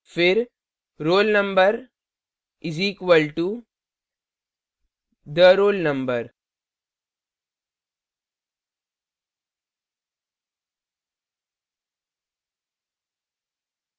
फिर roll _ number is equal to the _ roll _ number